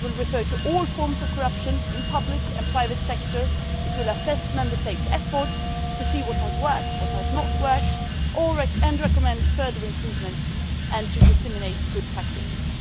It will refer to all forms of corruption in the public and private sectors, and it will assess Member States' efforts to see what has worked and what has not worked and recommend further improvements and disseminate good practices.